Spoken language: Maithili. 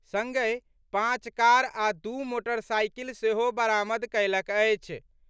संगहि, पांच कार आ दू मोटरसाईकिल सेहो बरामद कयलक अछि।